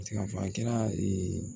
Paseke a fɔ a kɛra ee